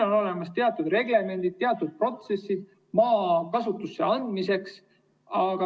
On olemas teatud reglemendid, teatud protsessid maa kasutusse andmiseks.